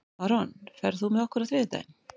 Maron, ferð þú með okkur á þriðjudaginn?